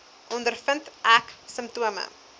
ondervind ek simptome